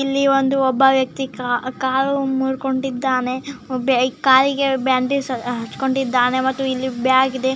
ಇಲ್ಲಿ ಒಂದು ಒಬ್ಬ ವ್ಯಕ್ತಿ ಕ ಕಾಲು ಮುರ್ಕೊಂಡಿದ್ದಾನೆ ಕಾಲಿಗೆ ಬ್ಯಾಂಡೇಜ್ ಹಾಕೊಂಡಿದ್ದಾನೆ ಮತ್ತು ಇಲ್ಲಿ ಬ್ಯಾಗ್ ಇದೆ